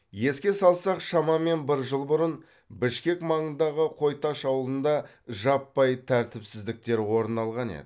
еске салсақ шамамен бір жыл бұрын бішкек маңындағы қой таш ауылында жаппай тәртіпсіздіктер орын алған еді